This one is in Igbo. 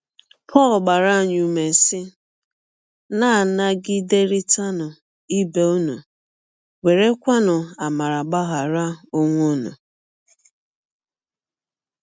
Pọl gbara anyị ụme, sị: “ Na - anagiderịtanụ ibe ụnụ, werekwanụ amara gbaghara ọnwe ụnụ. ”